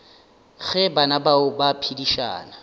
ge bana bao ba phedišana